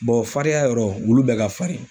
farinya yɔrɔ ,olu bɛɛ ka farin.